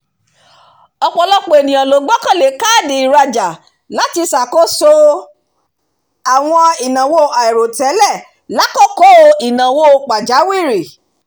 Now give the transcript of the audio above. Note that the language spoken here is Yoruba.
ọpọlọpọ ènìyàn gbọ́kànlé kaadi ìrajà láti ṣàkóso àwọn ìnáwó àìròtẹ́lẹ̀ lákọ̀kọ́ ìnáwó pajáwìrì